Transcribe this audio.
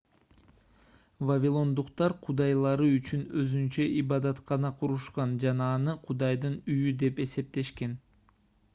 вавилондуктар кудайлары үчүн өзүнчө ибадаткана курушкан жана аны кудайдын үйү деп эсептешкен